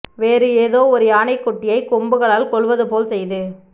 வேறு எதோ ஒரு யானைக் குட்டியை கொம்புகளால் கொல்வது போல் செய்து